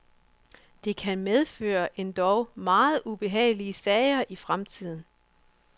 Det kan medføre endog meget ubehagelige sager i fremtiden.